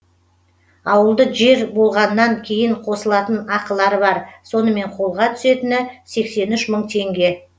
ауылды жер болғаннан кейін қосылатын ақылары бар сонымен қолға түсетіні сексен үш мың теңге